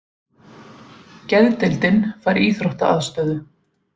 Geðdeildin fær íþróttaaðstöðu